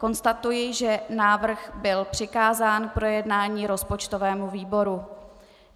Konstatuji, že návrh byl přikázán k projednání rozpočtovému výboru.